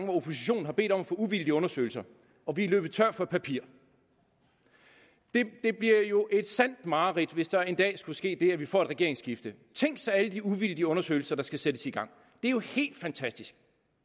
hvor oppositionen har bedt om at få uvildige undersøgelser og vi er løbet tør for papir det bliver jo et sandt mareridt hvis der en dag skulle ske det at vi får et regeringsskifte tænk sig alle de uvildige undersøgelser der skal sættes i gang det er jo helt fantastisk